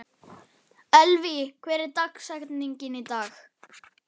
Elvý, hver er dagsetningin í dag?